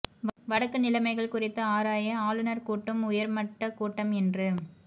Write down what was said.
வடக்கு நிலைமைகள் குறித்து ஆராய ஆளுநர் கூட்டும் உயர் மட்ட கூட்டம் இன்று